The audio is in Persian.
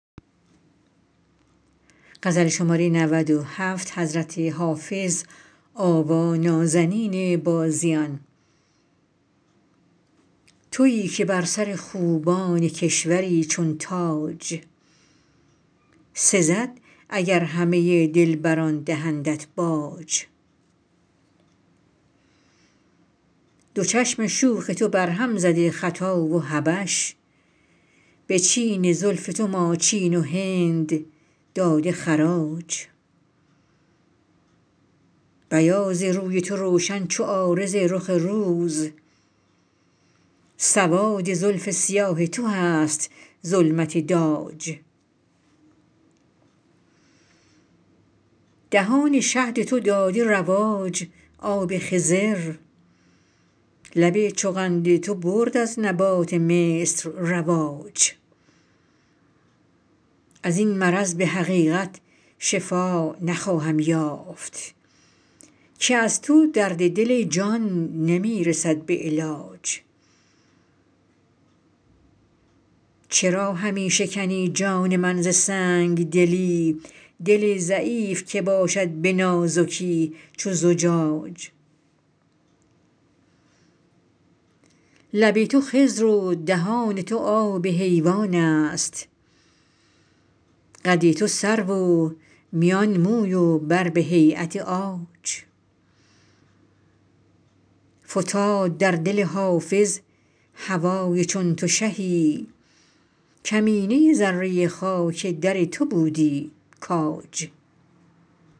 تویی که بر سر خوبان کشوری چون تاج سزد اگر همه دلبران دهندت باج دو چشم شوخ تو برهم زده خطا و حبش به چین زلف تو ماچین و هند داده خراج بیاض روی تو روشن چو عارض رخ روز سواد زلف سیاه تو هست ظلمت داج دهان شهد تو داده رواج آب خضر لب چو قند تو برد از نبات مصر رواج از این مرض به حقیقت شفا نخواهم یافت که از تو درد دل ای جان نمی رسد به علاج چرا همی شکنی جان من ز سنگ دلی دل ضعیف که باشد به نازکی چو زجاج لب تو خضر و دهان تو آب حیوان است قد تو سرو و میان موی و بر به هییت عاج فتاد در دل حافظ هوای چون تو شهی کمینه ذره خاک در تو بودی کاج